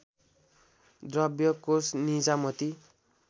द्रव्य कोष निजामती